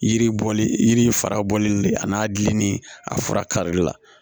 Yiri bɔli yiri fara bɔli le a n'a gilinen a fura karili la